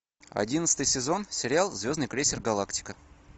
одиннадцатый сезон сериал звездный крейсер галактика